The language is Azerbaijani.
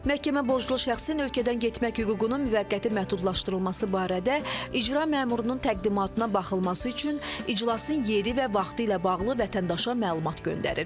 Məhkəmə borclu şəxsin ölkədən getmək hüququnun müvəqqəti məhdudlaşdırılması barədə icra məmurunun təqdimatına baxılması üçün iclasın yeri və vaxtı ilə bağlı vətəndaşa məlumat göndərir.